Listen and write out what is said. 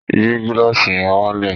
Yìí gílàsì yẹn wálẹ̀!